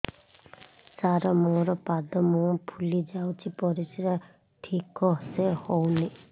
ସାର ମୋରୋ ପାଦ ମୁହଁ ଫୁଲିଯାଉଛି ପରିଶ୍ରା ଠିକ ସେ ହଉନି